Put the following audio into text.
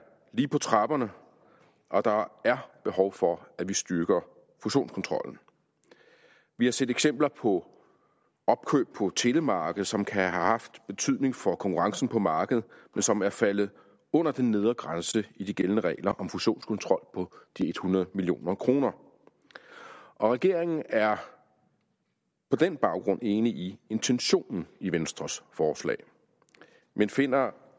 lige på trapperne og der er behov for at vi styrker fusionskontrollen vi har set eksempler på opkøb på telemarkedet som kan have haft betydning for konkurrencen på markedet men som er faldet under den nedre grænse i de gældende regler om fusionskontrol på de hundrede million kroner regeringen er på den baggrund enig i intentionen i venstres forslag men finder